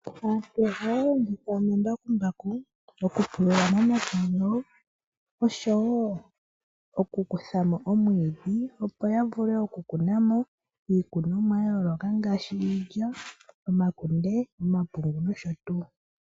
Aantu ohaya longitha omambakumbaku mokupulula momapya gawo, oshowo okukutha mo omwiidhi opo ya vule okukuna mo iikunomwa ya yooloka ngaashi iilya, omakunde, omapungu nosho tuu.